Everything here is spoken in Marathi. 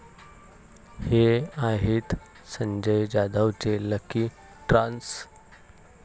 हे' आहेत संजय जाधवचे 'लकी' स्टार्स